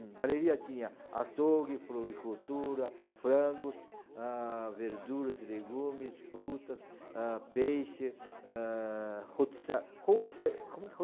Galeria tinha açougue, floricultura, frangos, ah, verduras, legumes, frutas, ah peixe, ah rotissa rotisse